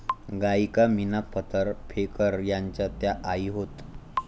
गायिका मीना फतर फेकर यांच्या त्या आई होत